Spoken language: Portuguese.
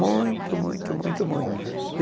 Muito, muito, muito, muito.